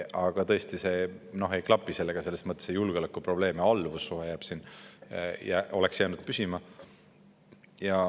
Aga tõesti, see ei klapi sellega selles mõttes, et julgeoleku probleem oleks jäänud alles ja alluvussuhe oleks jäänud püsima.